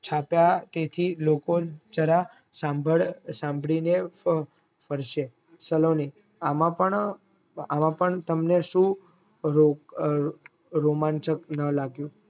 ચાપા તે થી લોકો જરા સાંભળીને પડશે સલોની આમપણ તમને સુ રોમાંચક નો લાગ્યું